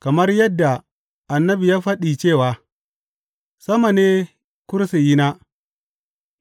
Kamar yadda annabi ya faɗi cewa, Sama ne kursiyina,